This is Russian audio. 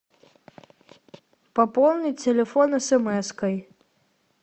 пополни телефон смской